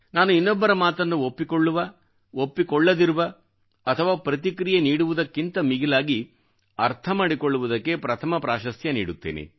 ನಾನು ಇನ್ನೊಬ್ಬರ ಮಾತನ್ನು ಒಪ್ಪಿಕೊಳ್ಳುವ ಒಪ್ಪಿಕೊಳ್ಳದಿರುವ ಅಥವಾ ಪ್ರತಿಕ್ರಿಯೆ ನೀಡುವುದಕ್ಕಿಂತ ಮಿಗಿಲಾಗಿ ಅರ್ಥಮಾಡಿಕೊಳ್ಳುವುದಕ್ಕೆ ಪ್ರಥಮ ಪ್ರಾಶಸ್ತ್ಯ ನೀಡುತ್ತೇನೆ